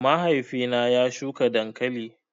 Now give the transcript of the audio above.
Mahaifi na ya shuka dankali